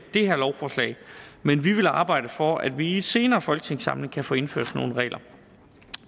det her lovforslag men vi vil arbejde for at vi i en senere folketingssamling kan få indført sådan nogle regler